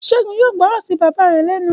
Ṣẹ́gun yóò gbọ́ràn sí bàbá rẹ̀ lẹ́nu